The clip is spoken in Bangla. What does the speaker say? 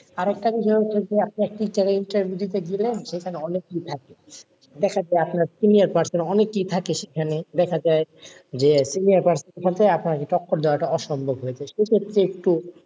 আর একটা জিনিস interview দিতে গেলে, সেখানে অনেকেই থাকে, দেখা যায় আপনার senior person অনেকেই থাকে সেখানে দেখা যায় যে senior person আছে আপনার দেওয়া টা অসম্ভব হয়ে যাই সেই ক্ষেত্রে একটু,